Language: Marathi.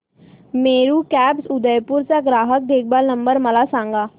मेरू कॅब्स उदयपुर चा ग्राहक देखभाल नंबर मला सांगा